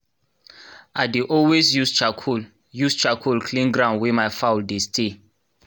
i dey always use charcoal use charcoal clean ground wey my fowl dey stay